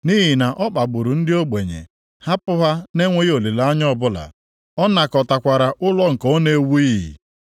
Nʼihi na ọ kpagburu ndị ogbenye, hapụ ha na-enweghị olileanya ọbụla, ọ nakọtakwara ụlọ nke ọ na-ewughị.